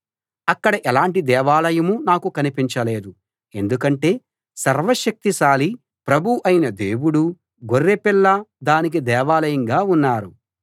అక్కడ ఎలాంటి దేవాలయమూ నాకు కనిపించలేదు ఎందుకంటే సర్వశక్తిశాలి ప్రభువు అయిన దేవుడూ గొర్రెపిల్లా దానికి దేవాలయంగా ఉన్నారు